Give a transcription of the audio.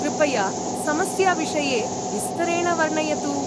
कृपया समस्याविषये विस्तरेण वर्णयतु।